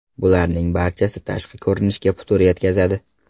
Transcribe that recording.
Bularning barchasi tashqi ko‘rinishga putur yetkazadi.